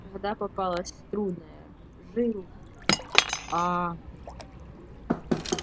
когда попалась трудная жил а